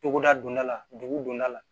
Togoda don da la dugu donda la